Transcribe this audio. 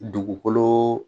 Dugukolo